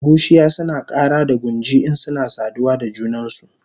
Bushiya suna kara da gunji insuna saduwa da junansu